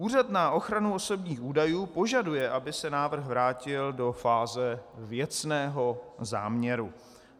Úřad na ochranu osobních údajů požaduje, aby se návrh vrátil do fáze věcného záměru.